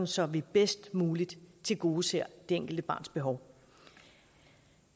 så vi bedst muligt tilgodeser det enkelte barns behov